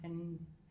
Han